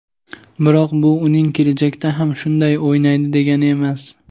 biroq bu uning kelajakda ham shunday o‘ynaydi degani emas.